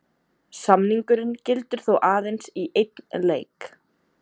Samningurinn gildir þó aðeins í einn leik.